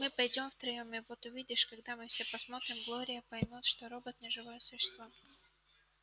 мы пойдём втроём и вот увидишь когда мы все посмотрим глория поймёт что робот не живое существо